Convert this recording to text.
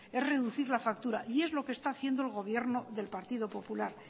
es reducir la factura y es lo que está haciendo el gobierno del partido popular